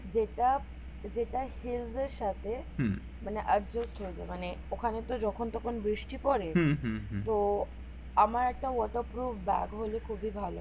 যেটা যেটা সাথে মানে exhaust হইয়েছে মানে ওখানে তো যখন তখন বৃষ্টি পরে তো আমার একটা waterproof ব্যাগ হলে খুবি ভালো হয়